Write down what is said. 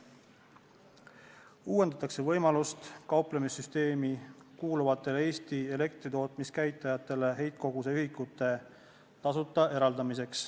Uuendatakse võimalust eraldada kauplemissüsteemi kuuluvatele Eesti elektritootmiskäitistele tasuta heitkoguse ühikuid.